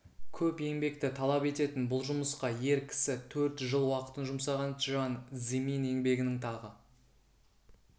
көп еңбекті талап ететін бұл жұмысқа ер кісі төрт жыл уақытын жұмсаған чжан цзымин еңбегінің тағы